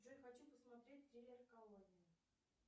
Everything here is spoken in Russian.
джой хочу посмотреть триллер колония